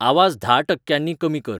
आवाज धा टक्क्यांनी कमी कर